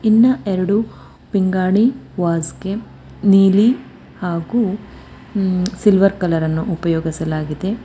ಇನ್ನ ಎರಡು ಪಿಂಗಾಣಿ ವಾಸ್ ಗೇಮ್ ನೀಲಿ ಹಾಗು ಉ ಸಿಲ್ವರ್ ಕಲರ್ ಅನ್ನ ಉಪಯೋಗಿಸಲಾಗಿದೆ.